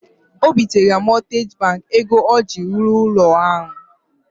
O binatara mọtgeji bankị ego ọ ji rụọ ụlọ ahụ.